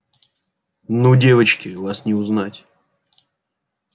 ну девочки вас не узнать